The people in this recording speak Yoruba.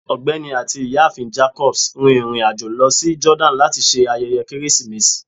Ọgbẹni ati Iyaafin Jacobs rin irin-ajo lọ si Jordani lati ṣe ayẹyẹ Keresimesi